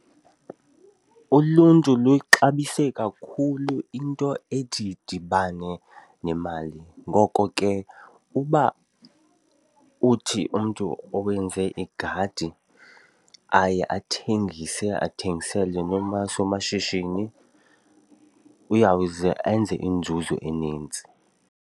Uluntu luyixabise kakhulu into ethi idibane nemali ngoko ke uba uthi umntu owenze igadi aye athengise athengisele noomasomashishini uyawuze enze inzuzo enintsi.